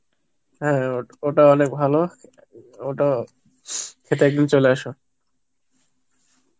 হ্যাঁ ও~ ওটা অনেক ভালো ওটা খেতে একদিন চলে এসো